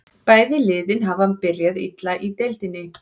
Bæði liðin hafa byrjað illa í deildinni.